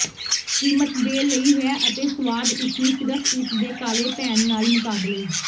ਕੀਮਤ ਦੇ ਲਈ ਹੈ ਅਤੇ ਸੁਆਦ ਇਸ ਨੂੰ ਸਿਰਫ ਇਸ ਦੇ ਕਾਲੇ ਭੈਣ ਨਾਲ ਮੁਕਾਬਲੇ